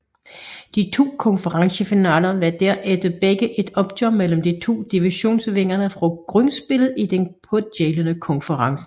De to konferencefinaler var derfor begge et opgør mellem de to divisionsvindere fra grundspillet i den pågældende konference